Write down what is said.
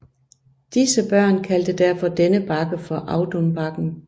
Disse børn kaldte derfor denne bakke for Audunbakken